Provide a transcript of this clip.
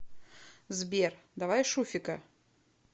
сбер давай шуфика